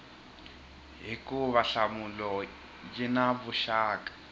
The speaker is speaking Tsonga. hikuva nhlamulo yi na vuxaka